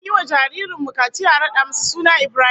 An yi wa jaririn mu kaciya an rada masa suna Ibrahim